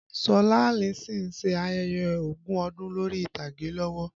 Ṣọlá Allyson ń ṣe ayẹyẹ ogún ọdún lórí ìtàgé lọ́wọ́